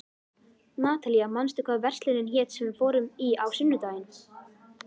Natalía, manstu hvað verslunin hét sem við fórum í á sunnudaginn?